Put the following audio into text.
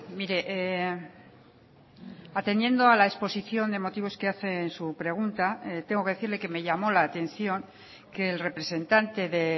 mire atendiendo a la exposición de motivos que hace en su pregunta tengo que decirle que me llamó la atención que el representante de